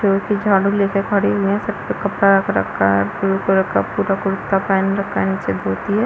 झाड़ू लेकर खड़े हुए है सब कपड़ा रख रखा है ब्लू कलर का पूरा कुर्ता पहन रखा है नीचे धोती हैं।